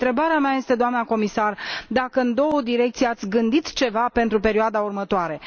Întrebarea mea este, doamnă comisar, dacă în două direcții ați gândit ceva pentru perioada următoare.